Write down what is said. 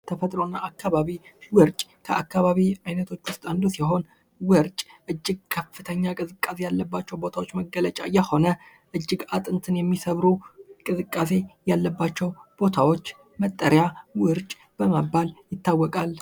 ተፈጥሮ እና አካባቢ ፦ ውርጭ ፦ ከአካባቢ አይነቶች ውስጥ አንዱ ሲሆን ውርጭ እጅግ ከፍተኛ ቅዝቃዜ ያለባቸው ቦታዎች መገለጫ የሆነ እጅግ አጥንትን የሚሰብሩ ቅዝቃዜ ያለባቸው ቦታዎች መጠሪያ ውርጭ በመባል ይታወቃል ።